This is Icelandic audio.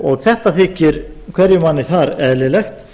og þetta þykir hverjum manni þar eðlilegt